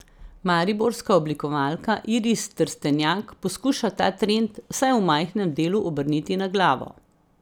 Mariborska oblikovalka Iris Trstenjak poskuša ta trend vsaj v majhnem delu obrniti na glavo.